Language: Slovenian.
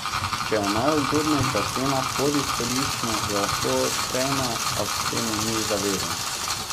Če je najugodnejša cena pod izhodiščno, jo lahko sprejme, a k temu ni zavezan.